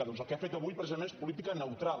doncs el que ha fet avui precisament és política neutral